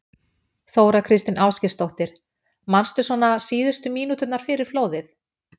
Þóra Kristín Ásgeirsdóttir: Manstu svona síðustu mínúturnar fyrir flóðið?